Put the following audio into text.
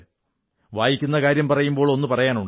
വായിക്കുന്ന കാര്യം പറയുമ്പോൾ ഒന്നു പറയാനുണ്ട്